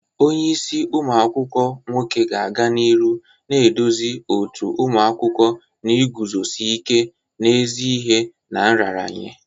Onye isi umu akwukwo nwoke ga-aga n'ihu na-eduzi òtù ụmụ akwụkwọ n'iguzosi ike n'ezi ihe na nraranye.